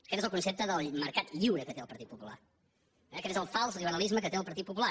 aquest és el concepte del mercat lliure que té el partit popular eh aquest és el fals liberalisme que té el partit popular